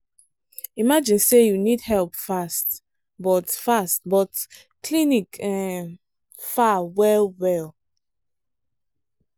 imagine say you need help fast but fast but clinic um far well well.